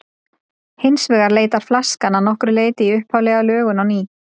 Hins vegar leitar flaskan að nokkru leyti í upphaflega lögun á ný.